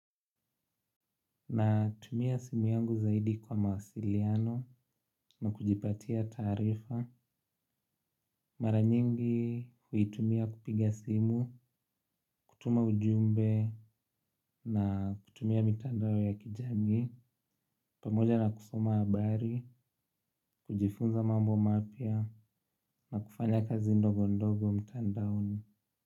Natumia simu yangu zaidi kwa mawasiliano na kujipatia taarifa mara nyingi huitumia kupiga simu, kutuma ujumbe na kutumia mitandao ya kijami pamoja na kusoma habari, kujifunza mambo mapya na kufanya kazi ndogo ndogo mtandaoni.